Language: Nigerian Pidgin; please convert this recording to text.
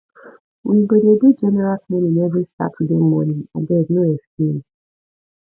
we go dey do general cleaning every saturday morning abeg no excuse